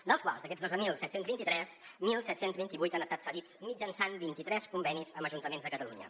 dels quals d’aquests dotze mil set cents i vint tres disset vint vuit han estat cedits mitjançant vint i tres convenis amb ajuntaments de catalunya